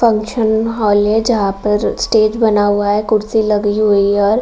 function hall है जहाँ पर स्टेज बना हुआ है कुर्सी लगी हुई है और --